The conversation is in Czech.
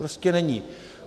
Prostě není.